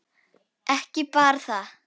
Ekki bara það.